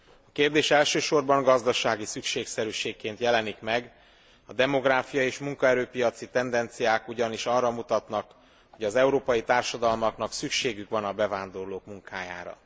A kérdés elsősorban gazdasági szükségszerűségként jelenik meg, a demográfia és munkaerő piaci tendenciák ugyanis arra mutatnak, hogy az európai társadalmaknak szükségük van a bevándorlók munkájára.